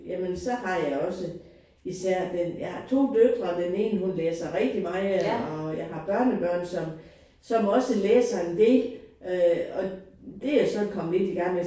Jamen så har jeg også især den jeg har to døtre den ene hun læser rigtig meget og jeg har børnebørn som som også læser en del øh og det er jeg sådan kommet lidt i gang med